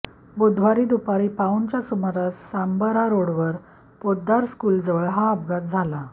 बुधवारी दुपारी पाऊणच्या सुमारास सांबरा रोडवर पोद्दार स्कूलजवळ हा अपघात झाला